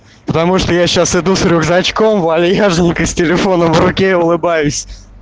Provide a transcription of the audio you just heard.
потому что я сейчас иду с рюкзачком вальяжненько с телефоном в руке и улыбаюсь